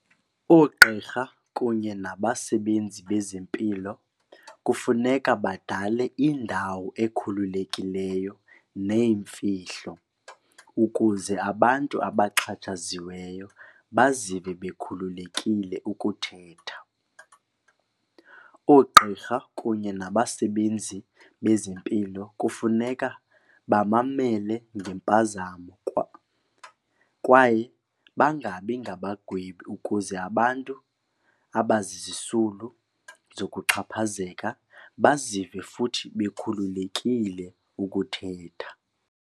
Oogqirha kunye nabasebenzi bezempilo kufuneka badale indawo ekhululekileyo neyimfihlo ukuze abantu abaxhatshaziweyo bazive bekhululekile ukuthetha. Oogqirha kunye nabasebenzi bezempilo kufuneka bamamele ngempazamo kwaye bangabi ngabagwebi ukuze abantu abazisisulu zokuxhaphazeka bazive futhi bekhululekile ukuthetha.